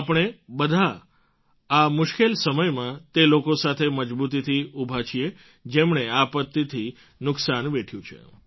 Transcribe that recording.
આપણે બધાં આ મુશ્કેલ સમયમાં તે લોકો સાથે મજબૂતીથી ઊભા છીએ જેમણે આ આપત્તિથી નુકસાન વેઠ્યું છે